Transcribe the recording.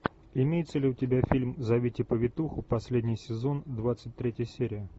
имеется ли у тебя фильм зовите повитуху последний сезон двадцать третья серия